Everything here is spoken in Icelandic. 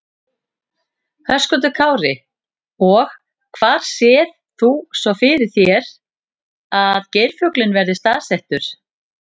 Höskuldur Kári: Og hvar sérð þú svo fyrir þér að geirfuglinn verði staðsettur?